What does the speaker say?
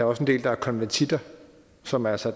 også en del der er konvertitter som altså